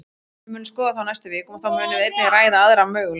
Við munum skoða það á næstu vikum, og þá munum við einnig ræða aðra möguleika.